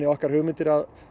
okkar hugmyndir að